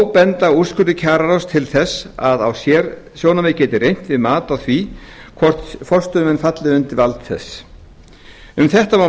þó benda úrskurðir kjararáðs til þess að á sérsjónarmið geti reynt við mat á því hvort forstöðumenn falli undir vald þess um þetta má